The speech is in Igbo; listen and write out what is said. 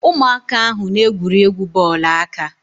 Ụmụaka ahụ na- egwuri egwu bọọlụ aka.